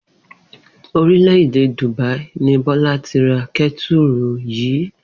Orílè̩-èdè Dùbáí ni Bó̩lá ti ra ké̩tùrù yìí